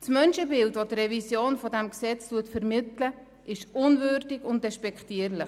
Das Menschenbild, welches die Revision dieses Gesetzes vermittelt, ist unwürdig und despektierlich.